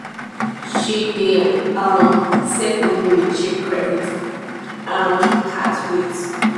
she dey um save money with cheap credit um cards rate